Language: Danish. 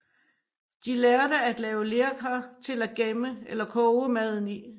De lærte at lave lerkar til at gemme eller koge maden i